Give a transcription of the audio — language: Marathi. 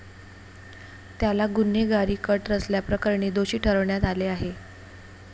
त्याला गुन्हेगारी कट रचल्याप्रकरणी दोषी ठरवण्यात आले आहे.